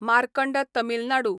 Markand Tamil Nadu